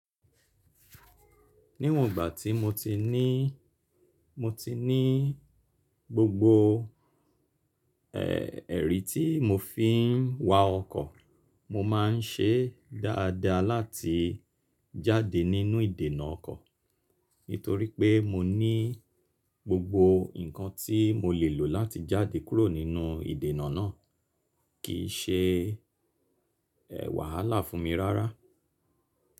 Níwọ̀n igbá tí mo ti ní, mo ti ní gbogbo ẹ̀rí tí mo fi ń wa ọkọ̀, mo má n ṣe dáadáa láti jáde nínú ìdènà ọkọ̀, nítorí pé mo ní gbogbo ǹkan tí mo lè lò láti jáde kúrò nínú ìdènà náà, kì í ṣe wàhálà fún mi rárá.